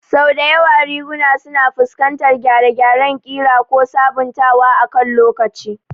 Sau da yawa riguna suna fuskantar gyare-gyaren ƙira ko sabuntawa akan lokaci.